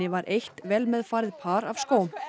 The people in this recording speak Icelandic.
var eitt vel með farið par af skóm